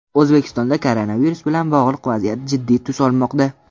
O‘zbekistonda koronavirus bilan bog‘liq vaziyat jiddiy tus olmoqda.